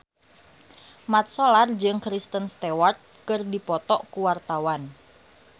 Mat Solar jeung Kristen Stewart keur dipoto ku wartawan